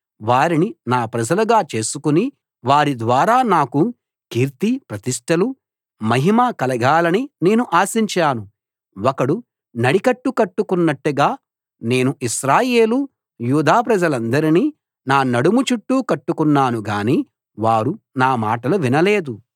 వారిని నా ప్రజలుగా చేసుకుని వారి ద్వారా నాకు కీర్తి ప్రతిష్టలు మహిమ కలగాలని నేను ఆశించాను ఒకడు నడికట్టు కట్టుకున్నట్టుగా నేను ఇశ్రాయేలు యూదా ప్రజలందరినీ నా నడుము చుట్టూ కట్టుకున్నాను గానీ వారు నా మాటలు వినలేదు